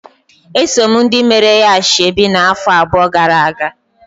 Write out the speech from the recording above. Esom ndị meere ya ashebi ya na-afọ abụọ gara-aga.